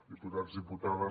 diputats diputades